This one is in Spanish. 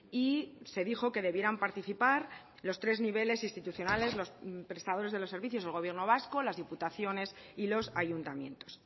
y se dijo que debieran participar los tres niveles institucionales los prestadores de los servicios del gobierno vasco las diputaciones y los ayuntamientos